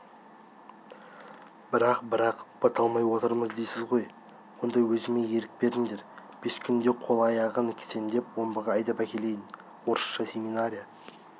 бірақ бірақ бата алмай отырмыз дейсіз ғой онда өзіме ерік беріңдер бес күнде қол-аяғын кісендеп омбыға айдап әкелейін орысша семинария